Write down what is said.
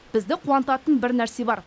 бізді қуантатын бір нәрсе бар